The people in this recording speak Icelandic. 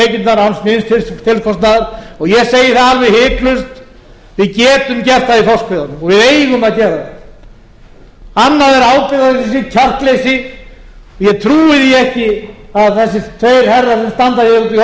við getum aukið tekjurnar án nýs tilkostnaðar og ég segi það alveg hiklaust við getum gert það í þorskveiðunum og við eigum að gera það annað er ábyrgðar og kjarkleysi og ég trúi því ekki að þeir herrar sem standa úti í